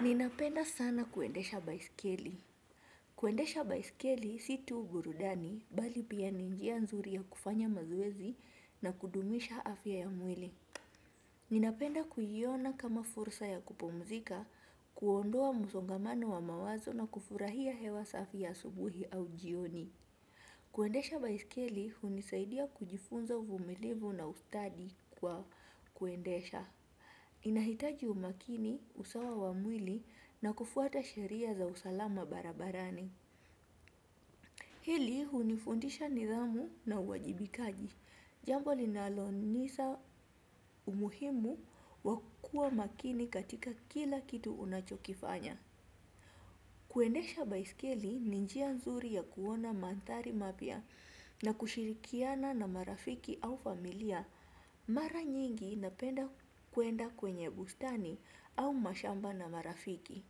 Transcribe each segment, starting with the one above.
Ninapenda sana kuendesha baiskeli. Kuendesha baiskeli si tu burudani bali pia ni njia nzuri ya kufanya mazoezi na kudumisha afya ya mwili. Ninapenda kuiona kama fursa ya kupumzika, kuondoa msongamano wa mawazo na kufurahia hewa safi ya asubuhi au jioni. Kuendesha baiskeli hunisaidia kujifunza uvumilivu na ustadi kwa kuendesha. Inahitaji umakini, usawa wa mwili na kufuata sheria za usalama barabarani. Hili hunifundisha nidhamu na uwajibikaji. Jambo linalonisa umuhimu wa kuwa makini katika kila kitu unachokifanya. Kuendesha baiskeli ni njia nzuri ya kuona mandhari mapya na kushirikiana na marafiki au familia. Mara nyingi napenda kwenda kwenye bustani au mashamba na marafiki.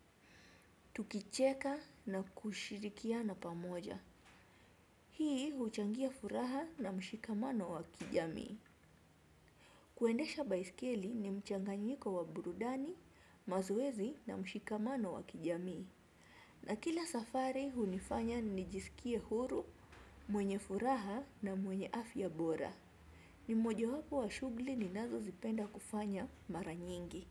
Tukicheka na kushirikiana pamoja. Hii huchangia furaha na mshikamano wa kijamii. Kuendesha baiskeli ni mchanganyiko wa burudani, mazoezi na mshikamano wa kijamii. Na kila safari hunifanya nijisikie huru, mwenye furaha na mwenye afya bora. Ni mojawapo wa shughuli ninazo zipenda kufanya mara nyingi.